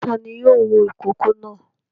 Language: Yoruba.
Ta ni yóò wo ìkókó náà?